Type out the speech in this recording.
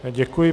Děkuji.